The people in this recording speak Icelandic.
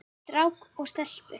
Strák og stelpu.